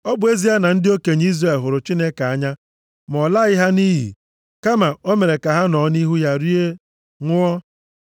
Ọ bụ ezie na ndị okenye Izrel hụrụ Chineke anya ma ọ laghị ha nʼiyi. Kama o mere ka ha nọọ nʼihu ya rie, ṅụọ.